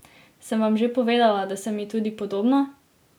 Sem vam že povedala, da sem ji tudi podobna?